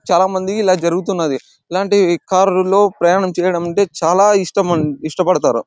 చాల మందికి ఇలా జరుగుతున్నది ఇలాంటి కారు లో ప్రయాణం చేయడం అంటే చాల ఇష్టం ఇష్టపడతారు.